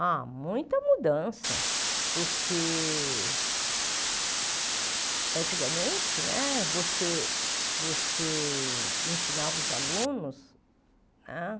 Ah, muita mudança, porque antigamente, né, você você ensinava os alunos, né